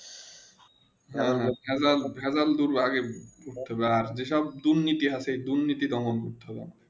হেঁ হেঁ হাইজাল দূর যেসব দুনীতি আছে দুনীতি তা বন্ধ করতে হবে